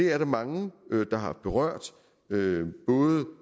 er der mange der har berørt både